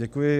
Děkuji.